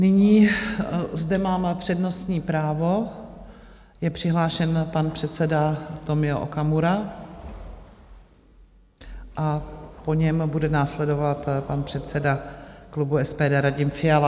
Nyní zde mám přednostní právo, je přihlášen pan předseda Tomio Okamura a po něm bude následovat pan předseda klubu SPD Radim Fiala.